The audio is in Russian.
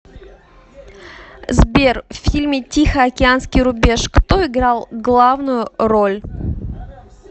сбер в фильме тихоокеанский рубеж кто играл главную роль